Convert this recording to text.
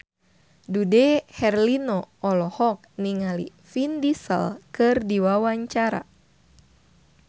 Dude Herlino olohok ningali Vin Diesel keur diwawancara